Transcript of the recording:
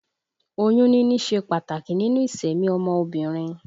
Oyún níní ṣe pàtàkì nínú ìsẹ̀mí ọmọ obìnrin